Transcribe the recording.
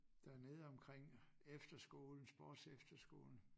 Dernede omkring efterskolen sportsefterskolen